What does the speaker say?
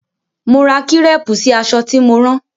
Mo ra kírépù sí aṣọ tí mo rán.